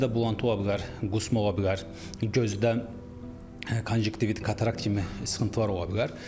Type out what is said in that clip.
Xəstədə bulanğı ola bilər, qusma ola bilər, gözdə konjoktivit, katarakt kimi sıxıntılar ola bilər.